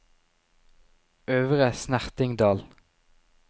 Øvre Snertingdal